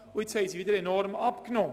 Jetzt hat sie wieder stark abgenommen.